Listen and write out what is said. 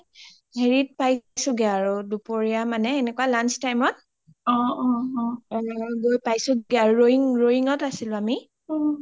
হেৰিত পাইছোগে আৰু দুপৰীয়া মানে এনেকোৱা lunch time ত গৈই পাইছো দিয়া ,ৰোয়িংত আছিলো আমি